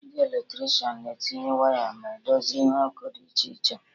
Ndị Eletrishan na etinye waya ma edozi ihe ọkụ dị iche iche